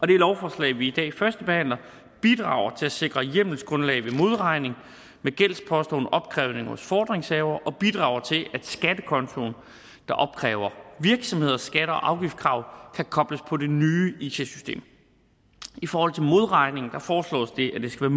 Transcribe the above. det lovforslag vi i dag førstebehandler bidrager til at sikre et hjemmelsgrundlag ved modregning med gældsposter under opkrævning hos fordringshavere og bidrager til at skattekontoen der opkræver virksomheders skatte og afgiftskrav kan kobles på det nye it system i forhold til modregning foreslås det at det skal